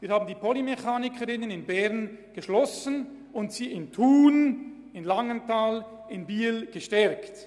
Wir haben die Polymechaniker/-innen-Ausbildung in Bern geschlossen und sie in Thun, in Langenthal und in Biel gestärkt.